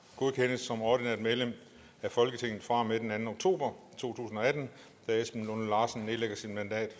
godkendes som ordinært medlem af folketinget fra og med den anden oktober to tusind og atten da esben lunde larsen nedlægger sit mandat